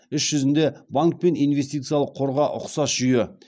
іс жүзінде банк пен инвестициялық қорға ұқсас жүйе